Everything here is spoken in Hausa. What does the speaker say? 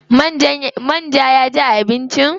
Man ja ya ji a abincin?